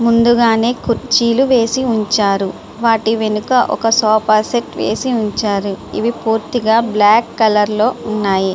ముందుగానే కుర్చీలు వేసి ఉంచారు. వాటి వెనక ఒక సోఫా సెట్టు వేసి ఉంచారు పూర్తిగా బ్లాక్ కలర్ లో ఉన్నాయి.